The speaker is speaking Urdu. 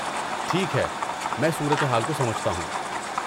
ٹھیک ہے، میں صورتحال کو سمجھتا ہوں۔